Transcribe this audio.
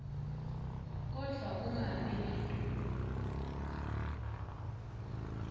kodvwa angabi ngetulu